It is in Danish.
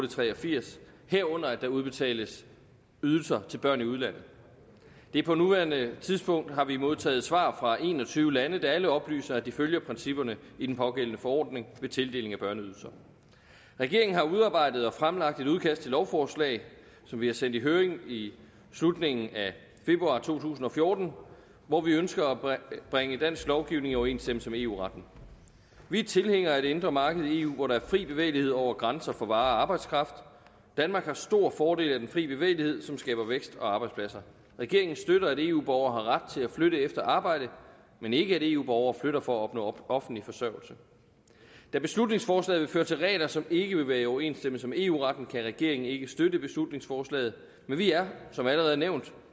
og tre og firs herunder at der udbetales ydelser til børn i udlandet på nuværende tidspunkt har vi modtaget svar fra en og tyve lande der alle oplyser at de følger principperne i den pågældende forordning ved tildeling af børneydelser regeringen har udarbejdet og fremlagt et udkast til lovforslag som vi sendte i høring i slutningen af februar to tusind og fjorten hvor vi ønsker at bringe dansk lovgivning i overensstemmelse med eu retten vi er tilhængere af et indre marked i eu hvor der er fri bevægelighed over grænser for varer og arbejdskraft danmark har stor fordel af den fri bevægelighed som skaber vækst og arbejdspladser regeringen støtter at eu borgere har ret til at flytte efter arbejde men ikke at eu borgere flytter for at opnå offentlig forsørgelse da beslutningsforslaget vil føre til regler som ikke vil være i overensstemmelse med eu retten kan regeringen ikke støtte beslutningsforslaget men vi er som allerede nævnt